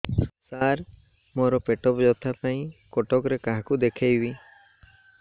ସାର ମୋ ର ପେଟ ବ୍ୟଥା ପାଇଁ କଟକରେ କାହାକୁ ଦେଖେଇବି